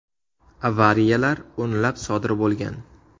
Avariyalar o‘nlab sodir bo‘lgan.